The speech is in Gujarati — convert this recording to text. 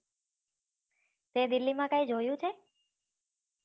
તે delhi માં કાઈ જોયું છે